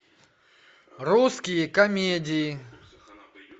русские комедии